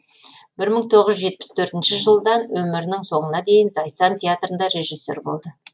бір мың тоғыз жүз жетпіс төртінші жылдан өмірінің соңына дейін зайсан театрында режиссер болды